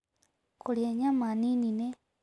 Kũrĩa nyama nĩnĩ nĩ